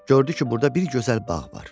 Gördü ki, burda bir gözəl bağ var.